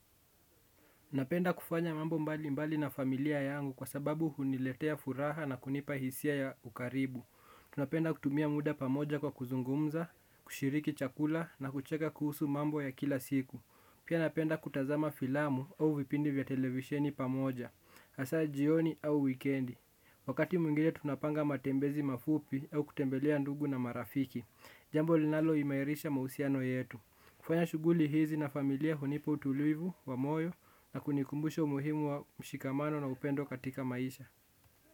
Napenda kufanya mambo mbalimbali na familia yangu kwa sababu huniletea furaha na kunipa hisia ya ukaribu. Tunapenda kutumia muda pamoja kwa kuzungumza, kushiriki chakula na kucheka kuhusu mambo ya kila siku. Pia napenda kutazama filamu au vipindi vya televisheni pamoja, hasa jioni au wikendi. Wakati mwingine tunapanga matembezi mafupi au kutembelea ndugu na marafiki. Jambo linalo imairisha mahusiano yetu. Kufanya shughuli hizi na familia hunipa utulivu wa moyo na kunikumbusha umuhimu wa mshikamano na upendo katika maisha.